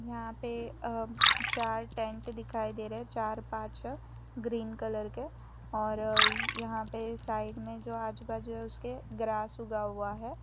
यहां पे चार अं टेंट दिखाई दे रहे हैं चार पांच ग्रीन कलर के और यहां पे साइड में जो आजू बाजू उसके ग्रास उगा हुआ हैं।